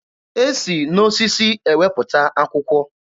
E si n'osisi ewepụta akwụkwọ.